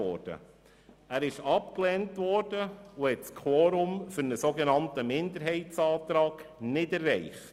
Dieser wurde abgelehnt und er hat das Quorum für einen sogenannten Minderheitsantrag nicht erreicht.